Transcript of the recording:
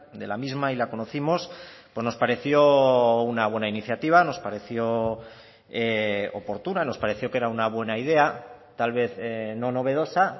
de la misma y la conocimos nos pareció una buena iniciativa nos pareció oportuna nos pareció que era una buena idea tal vez no novedosa